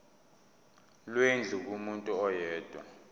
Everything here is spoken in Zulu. lwendlu kumuntu oyedwa